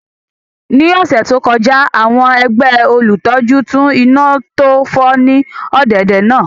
Ní ọ̀sẹ̀ tó kọjá àwọn ẹgbẹ́ olùtọ́jú tún iná tó fọ́ ní ọ̀dẹ̀dẹ̀ náà